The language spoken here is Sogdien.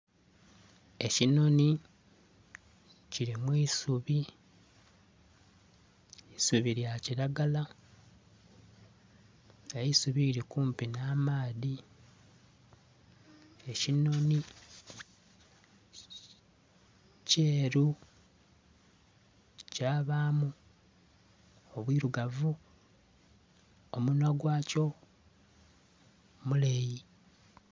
ekinonhi kili mwisubi, eisubi lya kilagala, eisubi lili kumpi nha amaadhi. Ekinonhi kyeru kya bamu obwirugavu omunhwa gwa kyo muleyi.